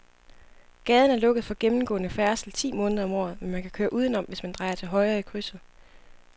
Gaden er lukket for gennemgående færdsel ti måneder om året, men man kan køre udenom, hvis man drejer til højre i krydset.